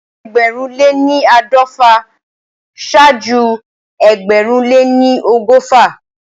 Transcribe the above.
Ẹgbẹ̀rún lé ní àádọ́fà ṣáájú ẹgbẹ̀rún lé ní ọgọ́fà